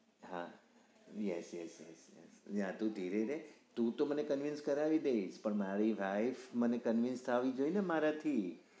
હા yes yes yes આટલું જોઈ લેજે તું તો મને convince કરવા ની નઈ પણ મને મારી wife મને convince તો આવી જોઈએ મારા થી